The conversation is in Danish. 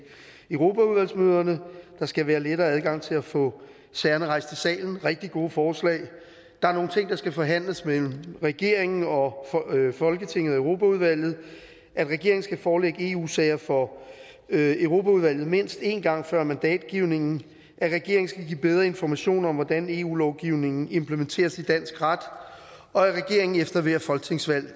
europaudvalgsmøder og der skal være lettere adgang til at få sagerne rejst i salen rigtig gode forslag der er nogle ting der skal forhandles mellem regeringen og folketinget og europaudvalget regeringen skal forelægge eu sager for europaudvalget mindst en gang før mandatgivningen regeringen skal give bedre information om hvordan eu lovgivningen implementeres i dansk ret og regeringen skal efter hvert folketingsvalg